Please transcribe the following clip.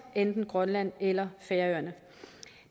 enten grønland eller færøerne